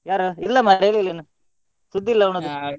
ಯಾರು ಇಲ್ಲ ಮಾರೆ ಹೇಳ್ಳಿಲ್ಲ ಅವ್ನು ಸುದ್ದಿ ಇಲ್ಲ .